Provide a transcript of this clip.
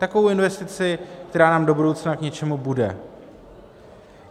Takovou investici, která nám do budoucna k něčemu bude.